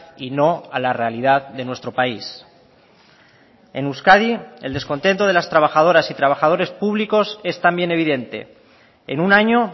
y no a la realidad de nuestro país en euskadi el descontento de las trabajadoras y trabajadores públicos es también evidente en un año